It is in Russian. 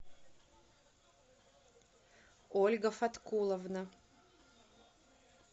ольга фаткуловна